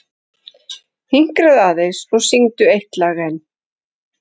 Hinkraðu aðeins og syngdu eitt lag enn.